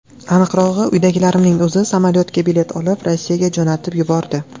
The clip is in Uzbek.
Aniqrog‘i, uydagilarimning o‘zi samolyotga bilet olib, Rossiyaga jo‘natib yubordi.